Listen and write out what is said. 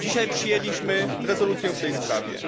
Dzisiaj przyjęliśmy rezolucję w tej sprawie.